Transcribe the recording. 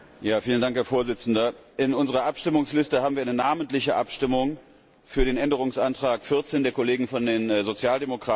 Herr Präsident! In unserer Abstimmungsliste haben wir eine namentliche Abstimmung für den Änderungsantrag 14 der Kollegen von den Sozialdemokraten.